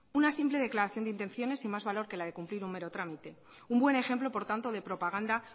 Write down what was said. una simple declaración de intenciones y más valor que la de cumplir un mero trámite un buen ejemplo por tanto de propaganda